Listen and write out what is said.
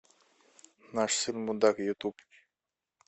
наш сын мудак ютуб